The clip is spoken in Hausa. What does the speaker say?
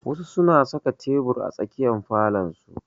Wasu su na saka tebur a tsakiyar falon su